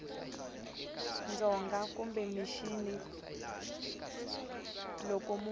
dzonga kumbe mixini loko munhu